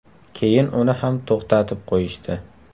Keyin uni ham to‘xtatib qo‘yishdi.